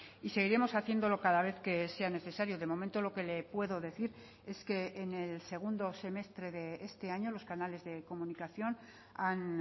y seguiremos haciéndolo cada vez que sea necesario de momento lo que le puedo decir es que en el segundo semestre de este año los canales de comunicación han